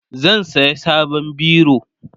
zan saya sabon biro